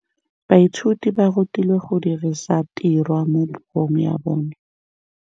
Baithuti ba rutilwe go dirisa tirwa mo puong ya bone.